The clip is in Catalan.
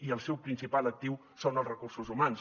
i el seu principal actiu són els recursos humans